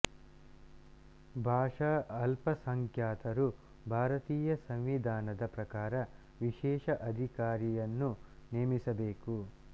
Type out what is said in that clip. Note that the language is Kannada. ಭಾಷಾ ಅಲ್ಪಸಂಖ್ಯಾತರು ಭಾರತೀಯ ಸಂವಿಧಾನದ ಪ್ರಕಾರ ವಿಶೇಷ ಅಧಿಕಾರಿಯನ್ನು ನೇಮಿಸಬೇಕು